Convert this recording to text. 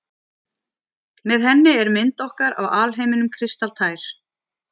Með henni er mynd okkar af alheiminum kristaltær.